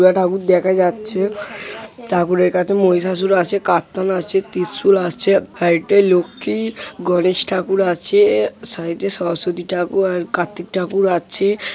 উরগা ঠাকুর দেখা যাচ্ছে। ঠাকুরের কাছে মহিসাসুর আছে কারতান আছে ত্রিশুল আছে। ফাইডে এ লক্ষ্মী-ই গনেশ ঠাকুর আছে-এ সাইড এ সরস্বতী ঠাকুর আর কার্ত্তিক ঠাকুর আছে।